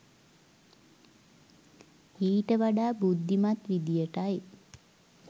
ඊට වඩා බුද්ධිමත් විදියටයි